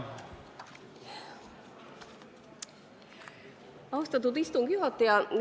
Austatud istungi juhataja!